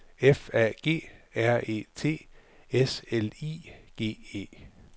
F A G R E T S L I G E